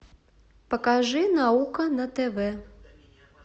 покажи наука на тв